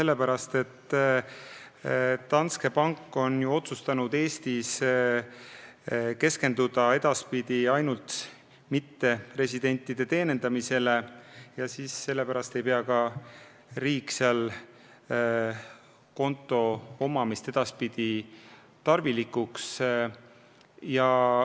Lihtsalt Danske pank on otsustanud Eestis edaspidi keskenduda ainult mitteresidentide teenindamisele ja riik ei pea seal konto omamist enam tarvilikuks.